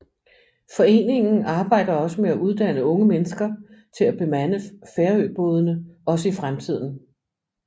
Foreningen arbejder også med at uddanne unge mennesker til at bemande færøbådene også i fremtiden